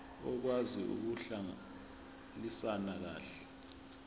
okwazi ukuhlalisana kahle